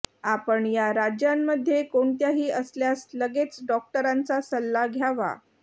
आपण या राज्यांमध्ये कोणत्याही असल्यास लगेच डॉक्टरांचा सल्ला घ्यावा